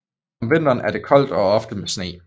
Om vinteren er det koldt og ofte med sne